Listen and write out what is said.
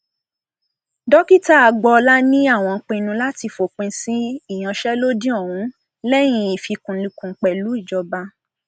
dókítà agboola ní àwọn pinnu láti fòpin sí ìyanṣẹlódì ọhún lẹyìn ìfikùnlukùn pẹlú ìjọba